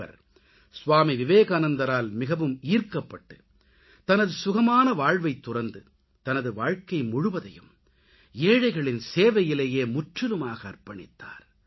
இவர் ஸ்வாமி விவேகானந்தரால் மிகவும் ஈர்க்கப்பட்டு தனது சுகமான வாழ்வைத் துறந்து தனது வாழ்க்கை முழுவதையும் ஏழைகளின் சேவையிலேயே முற்றிலுமாக அர்ப்பணித்தார்